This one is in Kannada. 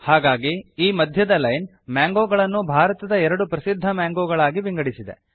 ಹಾಗಾಗಿ ಈ ಮಧ್ಯದ ಲೈನ್ ಮ್ಯಾಂಗೋಗಳನ್ನು ಭಾರತದ ಎರಡು ಪ್ರಸಿದ್ಧ ಮ್ಯಾಂಗೋಗಳಾಗಿ ವಿಂಗಡಿಸಿದೆ